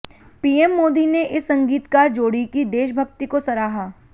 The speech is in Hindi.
पीएम मोदी ने इस संगीतकार जोड़ी की देशभक्ति को सराहा